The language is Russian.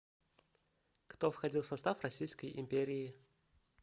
кто входил в состав российской империи